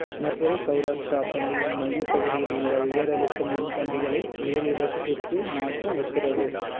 மதுரை செளராஷ்ட்ரா பள்ளியின் மையப்பகுதியில் உள்ள உயரழுத்த மின்கம்பங்களை வேறு இடத்திற்கு மாற்ற உத்தரவு